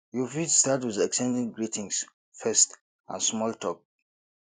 you fit start with exchanging greetings first and small talk